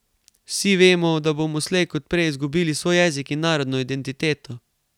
Vsi vemo, da bomo slej ko prej izgubili svoj jezik in narodno identiteto.